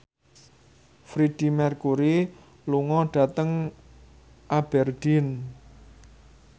Freedie Mercury lunga dhateng Aberdeen